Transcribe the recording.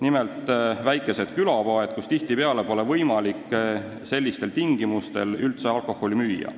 Nimelt, väikestes külapoodides pole tihtipeale sellistel tingimustel üldse võimalik alkoholi müüa.